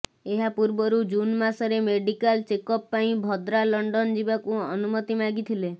ଏହାପୂର୍ବରୁ ଜୁନ୍ ମାସରେ medical checkup ପାଇଁ ଭଦ୍ରା ଲଣ୍ଡନ ଯିବାକୁ ଅନୁମତି ମାଗିଥିଲେ